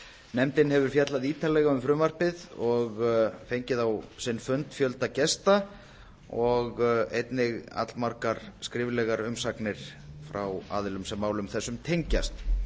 nefndin hefur fjallað ítarlega um frumvarpið og fengið á sinn fund fjölda gesta og einnig allmargar skriflegar umsagnir frá aðilum sem málum þessum tengjast